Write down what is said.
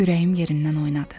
Ürəyim yerindən oynadı.